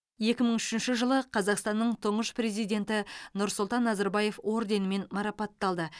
екі мың үшінші жылы қазақстанның тұңғыш президенті нұрсұлтан назарбаев орденімен марапатталды